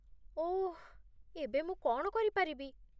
ଓଃ! ଏବେ ମୁଁ କ'ଣ କରିପାରିବି?